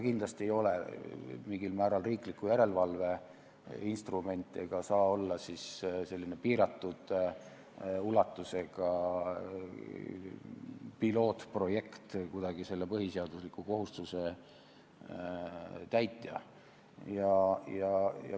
Kindlasti ei ole see mingil määral riikliku järelevalve instrument, selline piiratud ulatusega pilootprojekt ei saa kuidagi olla põhiseadusliku kohustuse täitja.